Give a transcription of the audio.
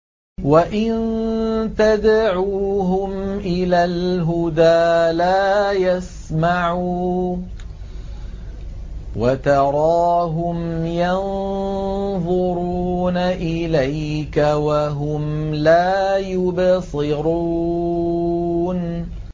وَإِن تَدْعُوهُمْ إِلَى الْهُدَىٰ لَا يَسْمَعُوا ۖ وَتَرَاهُمْ يَنظُرُونَ إِلَيْكَ وَهُمْ لَا يُبْصِرُونَ